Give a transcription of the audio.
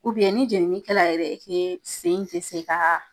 ni jenini kɛla yɛrɛ sen te se ka